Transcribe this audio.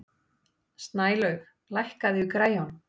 Snælaug, lækkaðu í græjunum.